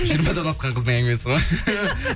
жиырмадан асқан қыздың әңгімесі ма